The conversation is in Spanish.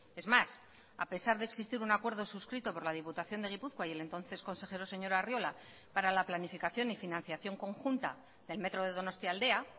es más a pesar de existir un acuerdo suscrito por la diputación de gipuzkoa y el entonces consejero señor arriola para la planificación y financiación conjunta del metro de donostialdea